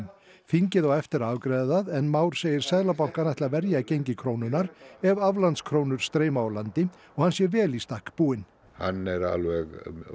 þingið á eftir að afgreiða það en Már segir seðlabankann ætla að verja gengi krónunnar ef aflandskrónur streyma úr landi og hann sé vel í stakk búinn hann er alveg